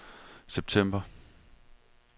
september